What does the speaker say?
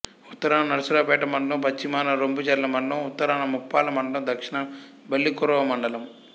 ఉత్తరాన నరసరావుపేట మండలం పశ్చిమాన రొంపిచెర్ల మండలం ఉత్తరాన ముప్పాళ్ళ మండలం దక్షణాన బల్లికురవ మండలం